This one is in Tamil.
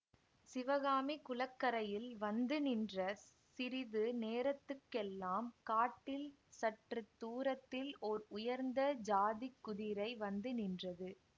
சிவகாமி குளக்கரையில் வந்து நின்ற சிறிது நேரத்துக்கெல்லாம் காட்டில் சற்று தூரத்தில் ஓர் உயர்ந்த ஜாதி குதிரை வந்து நின்றது